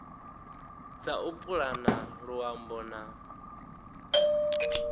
dza u pulana luambo na